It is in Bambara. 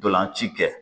Ntolan ci kɛ